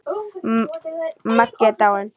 Maggi er dáinn!